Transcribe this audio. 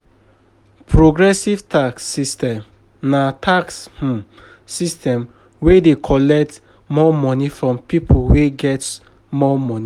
Progressive tax system na tax um system wey dey collect more money from pipo wey get more money